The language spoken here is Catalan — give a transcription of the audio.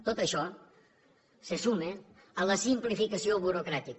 tot això se suma a la simplificació burocràtica